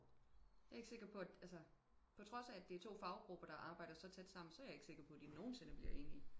Jeg er ikke sikker på at altså på trods af at det er to faggrupper der arbejder så tæt sammen så er jeg ikke sikker på de nogensinde bliver enige